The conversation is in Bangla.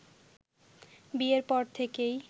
বিয়ের পর থেকেই